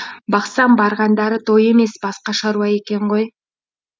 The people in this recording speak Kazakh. бақсам барғандары той емес басқа шаруа екен ғой